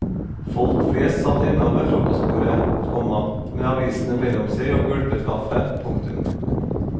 Folk flest satt ennå ved frokostbordet, komma med avisene mellom seg og gulpet kaffe. punktum